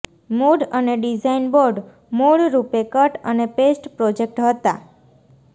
mood અને design board મૂળરૂપે cut અને પેસ્ટ પ્રોજેક્ટ હતા